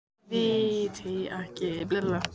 Þeir viti ekki einu sinni í hvaða skóla hún sé.